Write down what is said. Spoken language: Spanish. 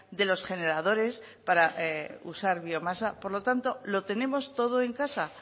de los generadores para usar biomasa por lo tanto lo tenemos todo en casa